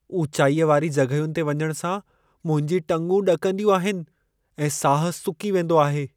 ऊचाईअ वारी जॻहियुनि ते वञण सां मुंहिंजी टंगूं ॾकंदियूं आहिनि ऐं साह सुकी वेंदो आहे।